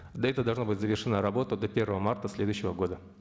до этого должна быть завершена работа до первого марта следующего года